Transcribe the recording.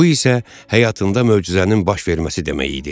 Bu isə həyatında möcüzənin baş verməsi demək idi.